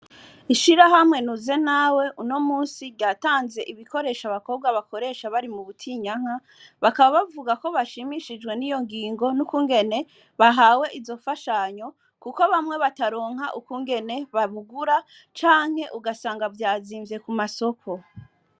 Ishira hamwe nuze nawe uno musi ryatanze ibikoresha abakobwa bakoresha bari mu butinyanka bakaba bavuga ko bashimishijwe n'iyo ngingo n'ukungene bahawe izo fashanyo, kuko bamwe bataronka ukungene babugura canke ugasanga vyazimvye ku masoko.